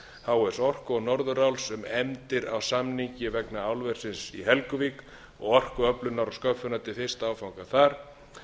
h s orku og norðuráls um efndir á samningi vegna álversins í helguvík og orkuöflunar og sköffunar til fyrsta áfanga þar